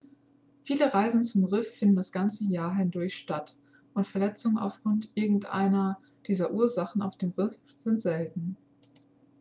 viele reisen zum riff finden das ganze jahr hindurch statt und verletzungen aufgrund irgendeiner dieser ursachen auf dem riff sind selten.x